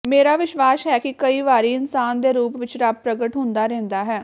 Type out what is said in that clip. ਮੇਰਾ ਵਿਸ਼ਵਾਸ਼ ਹੈ ਕਿ ਕਈ ਵਾਰੀ ਇਨਸਾਨ ਦੇ ਰੂਪ ਵਿਚ ਰੱਬ ਪ੍ਰਗਟ ਹੁੰਦਾ ਰਹਿੰਦਾ ਹੈ